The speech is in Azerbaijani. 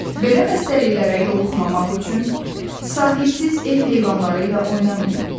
Belə xəstəliklərə yoluxmamaq üçün sahibsiz ev heyvanları ilə oynamayın.